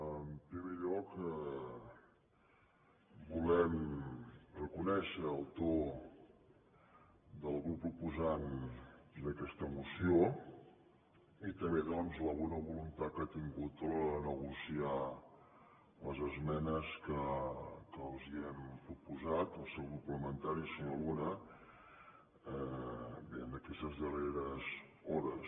en primer lloc volem reconèixer el to del grup proposant d’aquesta moció i també doncs la bona voluntat que ha tingut a l’hora de negociar les esmenes que els hem proposat al seu grup parlamentari senyor luna en aquestes darreres hores